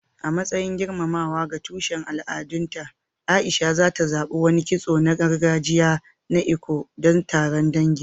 A matsayin girmamawa ga tushen al'adunta, A'isha ta zaɓi wani kitso na gargajiya na Eko don taron dangi.